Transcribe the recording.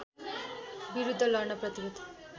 विरुध्द लड्न प्रतिवद्ध